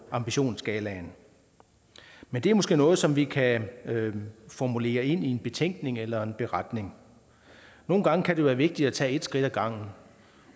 ambitionsskalaen men det er måske noget som vi kan formulere ind i en betænkning eller en beretning nogle gange kan det være vigtigt at tage et skridt ad gangen